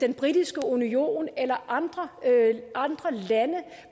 den britiske union eller andre lande